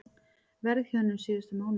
Verðhjöðnun síðustu mánuði